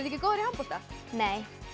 ekki góðar í handbolta nei